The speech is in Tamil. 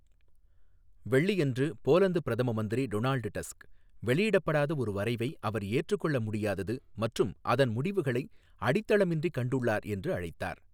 வெள்ளியன்று, போலந்து பிரதம மந்திரி டொனால்ட் டஸ்க், வெளியிடப்படாத ஒரு வரைவை அவர் ஏற்றுக்கொள்ள முடியாதது மற்றும் அதன் முடிவுகளை அடித்தளமின்றி கண்டுள்ளார் என்று அழைத்தார்.